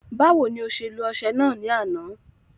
Báwo ni o ṣe lo ọṣẹ náà ní àná